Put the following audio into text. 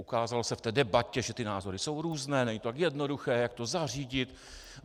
Ukázalo se v té debatě, že ty názory jsou různé, není to tak jednoduché, jak to zařídit.